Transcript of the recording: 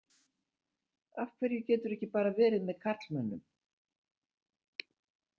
Af hverju geturðu ekki bara verið með karlmönnum?